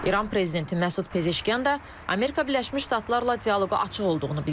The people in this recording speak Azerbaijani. İran prezidenti Məsud Pezeşkyan da Amerika Birləşmiş Ştatlarla dialoqa açıq olduğunu bildirib.